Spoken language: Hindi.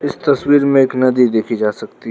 इस तस्वीर में एक नदी देखी जा सकती--